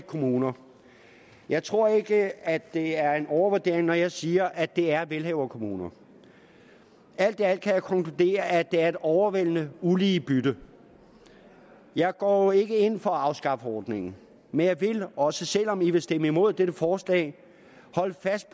kommuner jeg tror ikke at det er en overvurdering når jeg siger at det er velhaverkommuner alt i alt kan jeg konkludere at det er et overvældende ulige bytte jeg går jo ikke ind for at afskaffe ordningen men jeg vil også selv om man vil stemme imod dette forslag holde fast